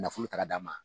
Nafolo ta ka d'a ma